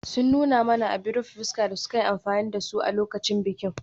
Sun nuna mana abin rufe fuska da suka yi amfani da su a lokacin bikin.